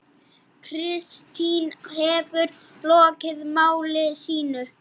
Kristín hefur lokið máli sínu.